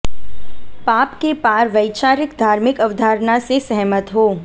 पाप के पार वैचारिक धार्मिक अवधारणा से सहमत हों